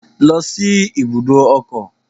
Go to the motor park